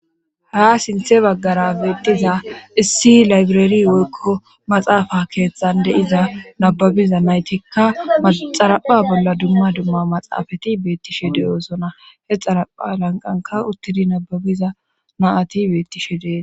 Haa sinthe baggara beettiza issi laybirari woykko maxaafa keettande iza nababiza naytikka maxarapha bolla dumma dumma maxaafati beettishe deyoosona he xarapha lanqanka uttidi nababiza maati bettishe dee.